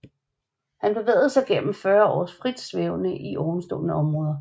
Han bevægede sig gennem 40 år frit svævende i ovenstående områder